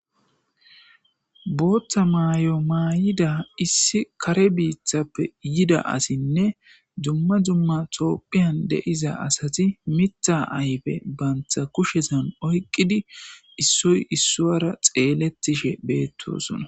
Booththa maayo maay7ida issi kare biithappe yida asinne dumma jumma tooppiyan deiza asati mitha aybe bantha kushesan oyqqidi issoy issuara xeeletishe beettosona.